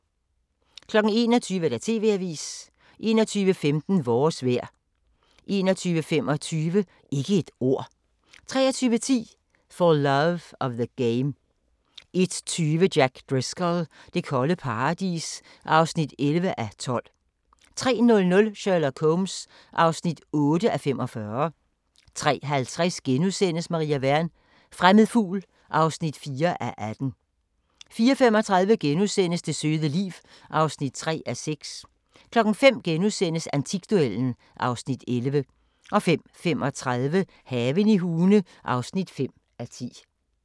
21:00: TV-avisen 21:15: Vores vejr 21:25: Ikke et ord 23:10: For Love of the Game 01:20: Jack Driscoll – det kolde paradis (11:12) 03:00: Sherlock Holmes (8:45) 03:50: Maria Wern: Fremmed fugl (4:18)* 04:35: Det søde liv (3:6)* 05:00: Antikduellen (Afs. 11)* 05:35: Haven i Hune (5:10)